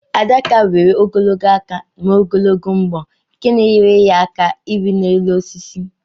Adaka nwere ogologo aka na ogologo mbọ nke na enyere aka irị elu osisi